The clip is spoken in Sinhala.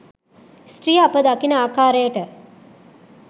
ස්ත්‍රිය අප දකින ආකාරයට